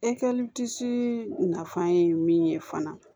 nafan ye min ye fana